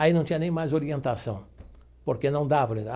Aí não tinha nem mais orientação, porque não dava.